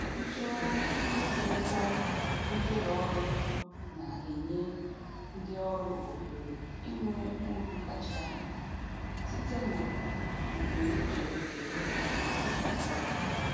Ntụgharị ịkwụ ụgwọ ndị ụlọ ọrụ na-enye ndị ọrụ ohere inwe uru kacha mkpa site na mbunuche ego nke onye ọbụla.